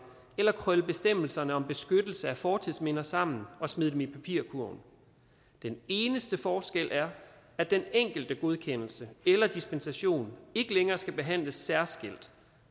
eller krølle bestemmelserne om beskyttelse af fortidsminder sammen og smide dem i papirkurven den eneste forskel er at den enkelte godkendelse eller dispensation ikke længere skal behandles særskilt